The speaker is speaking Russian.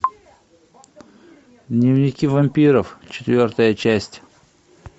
дневники вампиров четвертая часть